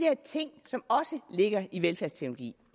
ting som også ligger i velfærdsteknologi